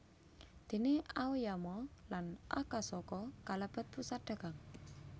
Déné Aoyama lan Akasaka kalebet pusat dagang